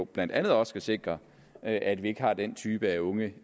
blandt andet også skal sikre at vi ikke har den type unge